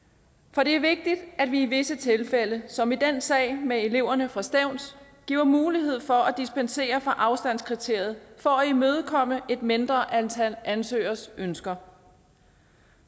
for det er vigtigt at vi i visse tilfælde som i den sag med eleverne fra stevns giver mulighed for at dispensere fra afstandskriteriet for at imødekomme et mindre antal ansøgeres ønsker